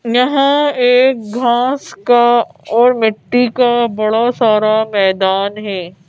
यह एक घास का और मिट्टी का बड़ा सारा मैदान है।